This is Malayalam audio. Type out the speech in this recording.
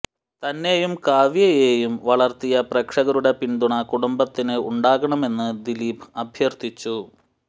തന്നെയും കാവ്യയെയും വളര്ത്തിയ പ്രേക്ഷകരുടെ പിന്തുണ കുടുംബത്തിന് ഉണ്ടാകണമെന്ന് ദീലീപ് അഭ്യര്ഥിച്ചു